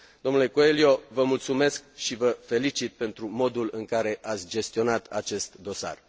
Dle Coelho, vă mulțumesc și vă felicit pentru modul în care ați gestionat acest dosar.